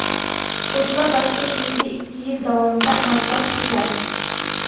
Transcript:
Qo‘shma dastur keyingi ikki yil davomida amalga oshiriladi.